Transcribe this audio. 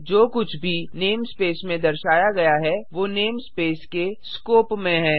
जो कुछ भी नेमस्पेस में दर्शाया गया है वो नेमस्पेस के स्कोप में है